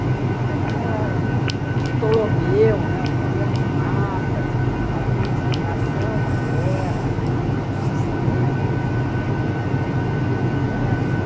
Era o Ptolomeu, né, os primeiros mapas, a identificação da terra, dos sistemas, do universo.